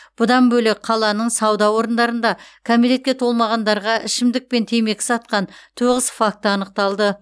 бұдан бөлек қаланың сауда орындарында кәмелетке толмағандарға ішімдік мен темекі сатқан тоғыз факті анықталды